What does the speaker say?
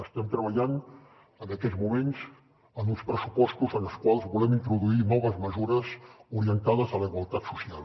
estem treballant en aquests moments en uns pressupostos en els quals volem introduir noves mesures orientades a la igualtat social